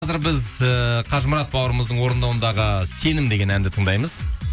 біз ііі қажымұрат бауырымыздың орындауындағы сенім деген әнді тыңдаймыз